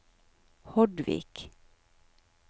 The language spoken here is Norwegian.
Hordvik